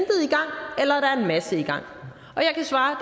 masse i gang og jeg kan svare